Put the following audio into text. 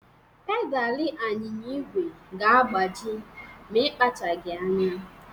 Pedalị anyịnya igwe ga-agbaji ma ịkpachaghị anya.